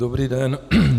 Dobrý den.